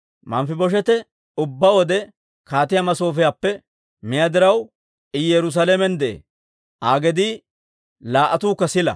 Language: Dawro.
Manfibosheete ubbaa wode kaatiyaa masoofiyaappe miyaa diraw, I Yerusaalamen de'ee. Aa gedii laa"attuukka sila.